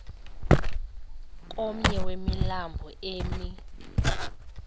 komnye wemilambo emi